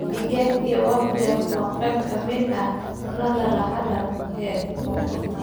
Digaag iyo waffle waa qayb ka mid ah cuntada raaxada ee koonfurta.